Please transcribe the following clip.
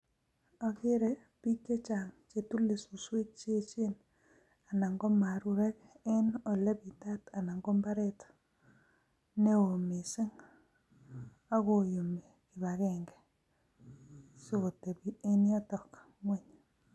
Ogere biik che chang kotile suswek anan ko marurek en ole bitat anan ko mbarret neo mising. Ak koyumi kibagenge si kotebi en yoton ng'weny.